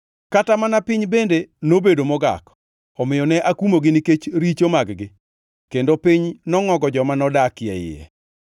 Kata mana piny bende nobedo mogak, omiyo ne akumogi nikech richo mag-gi, kendo piny nongʼogo joma nodakie iye.